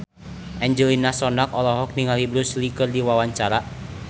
Angelina Sondakh olohok ningali Bruce Lee keur diwawancara